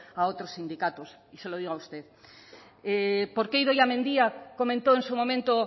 a otros sindicatos y se lo digo a usted por qué idoia mendia comentó en su momento